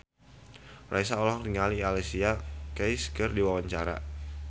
Raisa olohok ningali Alicia Keys keur diwawancara